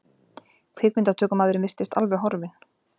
Kvikmyndatökumaðurinn virtist alveg horfinn.